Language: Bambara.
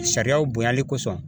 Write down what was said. Sariyaw bonyali kosɔn